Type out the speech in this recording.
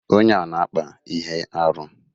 Onye a na-akpa ihe arụ.